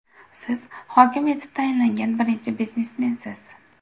Siz hokim etib tayinlangan birinchi biznesmensiz.